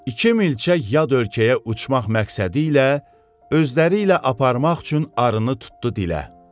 İki milçək yad ölkəyə uçmaq məqsədi ilə özləri ilə aparmaq üçün arını tutdu dilə.